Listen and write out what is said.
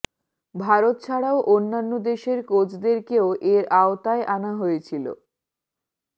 ভারত ছাড়াও অন্যান্য দেশের কোচেদেরকেও এর আওতায় আনা হয়েছিল